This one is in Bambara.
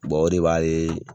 Mɔgɔ de b'ale.